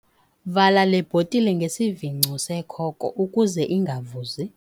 Vala le bhotile ngesivingco sekhoko ukuze ingavuzi.